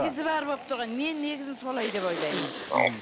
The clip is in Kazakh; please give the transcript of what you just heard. негізі бәрі болып тұр ғой мен негізі солай деп ойлаймын мхм